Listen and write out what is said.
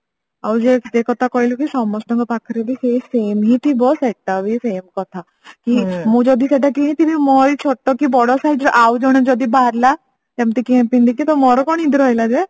ଆଉ ଯୋଉ କହିଲୁକି ସମସ୍ତ ଙ୍କ ପାଖରେ ବି ସେଇ same ହିଁ ଥିବ ସେଟା ବି same କଥା କି ମୁଁ ଯଦି ସେଟା କିଣିଥିବୀ ମୋରି ଛୋଟ କି ବଡ size ର ଆଉ ଜଣେ ଯଦି ବାହାରିଲା ଯେମତି କି କିଏ ପିନ୍ଧିଛି ତ ମୋର କଣ ଇଏ ରହିଲା ଯେ